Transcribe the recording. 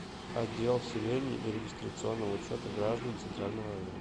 отдел вселения и регистрационного учета граждан центрального района